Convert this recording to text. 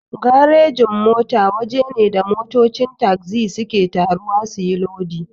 Garejin-mota waje ne da motocin tagzi suke taruwa suyi lodi.